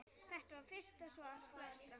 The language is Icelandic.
Þetta var fyrsta svar flestra?